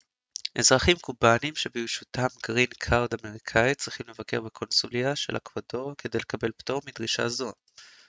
אזרחים קובנים שברשותם גרין קארד אמריקאי צריכים לבקר בקונסוליה של אקוודור כדי לקבל פטור מדרישה זו